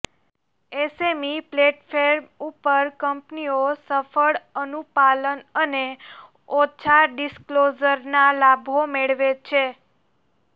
SME platform ઉપર કંપનીઓ સરળ અનુપાલન અને ઓછા ડિસ્ક્લોઝરના લાભો મેળવે છે